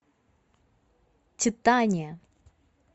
титания